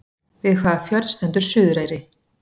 Við hvaða fjörð stendur Suðureyri?